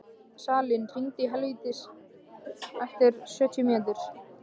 Salín, hringdu í Helvítus eftir sjötíu mínútur.